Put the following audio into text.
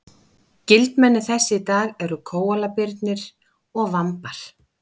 skyldmenni þess í dag eru kóalabirnir og vambar